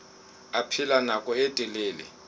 a phela nako e telele